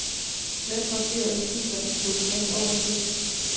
Slet markerede filer i dokumentoversigt.